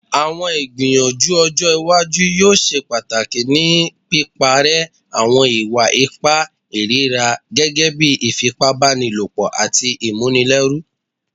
Awọn igbiyanju ojo iwaju yoo ṣe pataki ni piparẹ awọn iwa-ipa irira gẹgẹbi ifipabanilopo ati ifipabanilopo